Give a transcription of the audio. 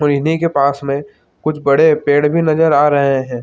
और इन्ही के पास में कुछ बड़े पेड़ भी नजर आ रहे हैं ।